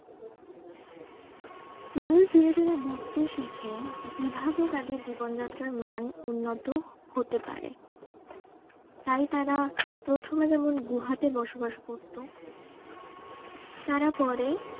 মানুষ ধীরে ধীরে বুজতে শিখে যে কিভাবে তাদের জীবন যাত্রার মান উন্নত হতে পারে তাই তারা প্রথমে যেমন গুহাতে বসবাস করতো তারা পরে